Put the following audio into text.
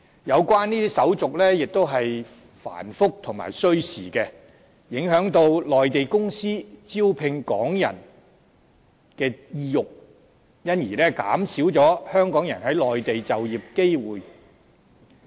有關手續亦十分繁複和需時，影響內地公司招聘港人的意欲，因而減少香港人在內地就業的機會。